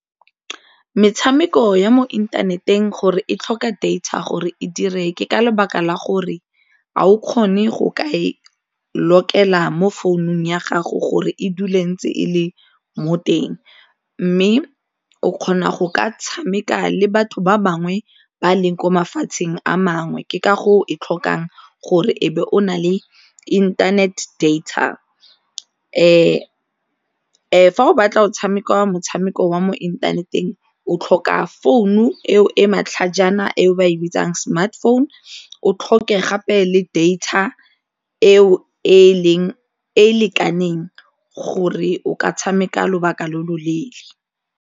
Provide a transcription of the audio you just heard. Metshameko ya mo inthaneteng gore e tlhoka data gore e dire ke ka lebaka la gore ga o kgone go ka e lokela mo founung ya gago gore e dule ntse e le mo teng mme o kgona go ka tshameka le batho ba bangwe ba leng ko mafatsheng a mangwe, ke ka e tlhokang gore e be o na le internet data. Fa o batla o tshameka motshameko wa mo inthaneteng, o tlhoka founu eo e matlhajana eo ba e bitsang smartphone, o tlhoke gape le data eo e e lekaneng gore o ka tshameka lobaka lo lo leele.